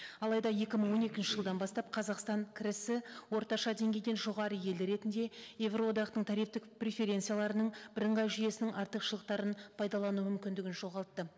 алайда екі мың он екінші жылдан бастап қазақстан кірісі орташа деңгейден жоғары елі ретінде еуроодақтың тарифтік преференцияларының бірыңғай жүйесінің артықшылықтарын пайдалану мүмкіндігін жоғалтты